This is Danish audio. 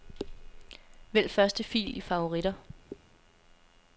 Vælg første fil i favoritter.